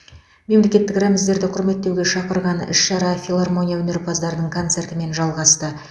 мемлекеттік рәміздерімізді құрметтеуге шақырған іс шара филармония өнерпаздарының концертімен жалғасты